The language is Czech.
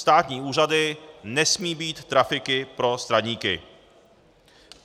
státní úřady nesmějí být trafiky pro straníky.